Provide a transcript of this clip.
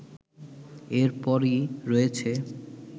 এরপরই রয়েছে